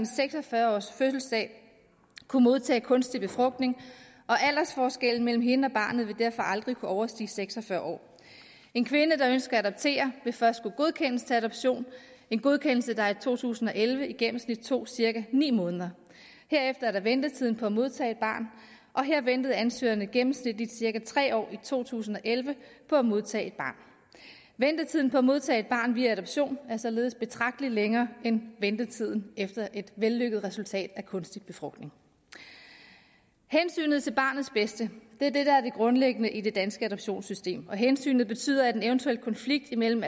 seks og fyrre års fødselsdag kunne modtage kunstig befrugtning og aldersforskellen mellem hende og barnet vil derfor aldrig kunne overstige seks og fyrre år en kvinde der ønsker at adoptere vil først skulle godkendes til adoption en godkendelse der i to tusind og elleve i gennemsnit tog cirka ni måneder herefter er der ventetiden på at modtage et barn og her ventede ansøgerne gennemsnitligt cirka tre år i to tusind og elleve på at modtage et barn ventetiden på at modtage et barn via adoption er således betragtelig længere end ventetiden efter et vellykket resultat af kunstig befrugtning hensynet til barnets bedste er det der er det grundlæggende i det danske adoptionssystem og hensynet betyder at en eventuel konflikt imellem